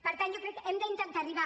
per tant jo crec que hem d’intentar arribar